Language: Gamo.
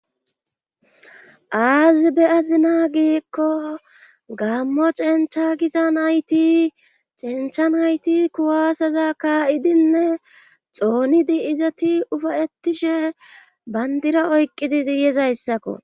aazi be azina giikko gammo cencha gizan hayti cenchan hayti kuwaasaza kaa7idinne xoonidi izati ufayettishe bandira oyqqididi yezayssakko